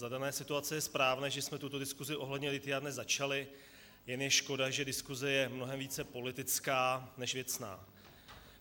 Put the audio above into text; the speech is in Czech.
Za dané situace je správné, že jsme tuto diskuzi ohledně lithia dnes začali, jen je škoda, že diskuze je mnohem více politická než věcná.